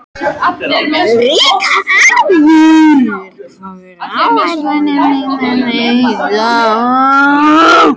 Rikharð, hvað er á áætluninni minni í dag?